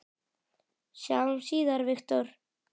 Sjáumst síðar, Viktor.